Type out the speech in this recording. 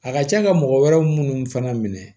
A ka ca ka mɔgɔ wɛrɛ minnu fana minɛ